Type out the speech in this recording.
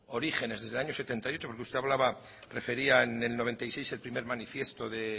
orígenes desde año setenta y ocho porque usted hablaba refería en el noventa y seis el primero manifiesto de